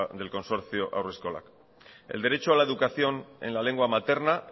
del consorcio haurreskolak el derecho a la educación en la lengua materna